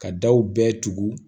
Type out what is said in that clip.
Ka daw bɛɛ tugu